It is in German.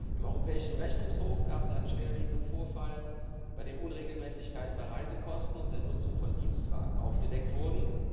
Im Europäischen Rechnungshof gab es einen schwerwiegenden Vorfall, bei dem Unregelmäßigkeiten bei Reisekosten und der Nutzung von Dienstwagen aufgedeckt wurden.